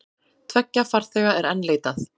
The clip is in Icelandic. Tveggja farþega er enn leitað.